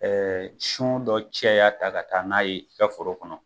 Ɛɛ sɔn dɔ caya ta ka taa n'a ye i ka foro kɔnɔ